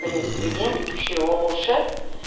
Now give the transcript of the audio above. біреуі студент үшеуі оқушы